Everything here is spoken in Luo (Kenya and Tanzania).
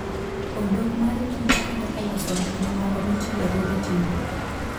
Odok mar Kich konyo e loso gik mamoko mitiyogo e tedo.